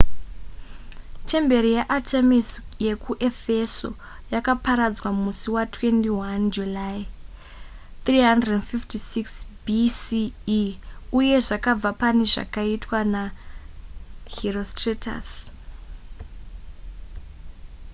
temberi yaartemis yekuefeso yakaparadzwa musi wa21 july 356 bce uye zvakabva pane zvakaitwa naherostratus